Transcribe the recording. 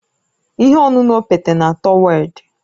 Ihe ọṅụṅụ okpete na-atọ werd